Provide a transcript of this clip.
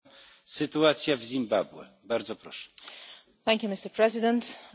Mr President, Zimbabwe has a unique opportunity for change.